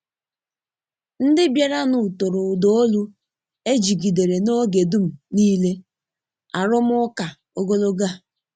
Ndị bịaranụ toro uda olu e jigidere n’oge dum nile arụmụka ogologo a.